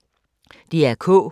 DR K